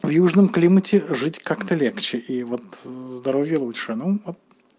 в южном климате жить как-то легче и вот здоровье лучше ну вот